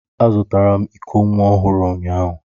Azụtara m iko nwa ọhụrụ ụnyahụ